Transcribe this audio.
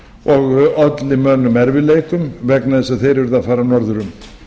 og olli mönnum erfiðleikum vegna þess að þeir urðu að fara norður um